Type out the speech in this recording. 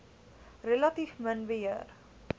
relatief min beheer